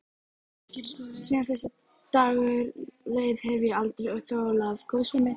Síðan þessi dagur leið hef ég aldrei þolað góðsemi.